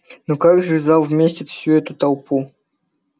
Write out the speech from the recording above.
но как же зал вместит всю эту толпу